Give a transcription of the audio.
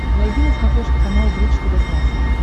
найди на смотрешке канал бридж тв классик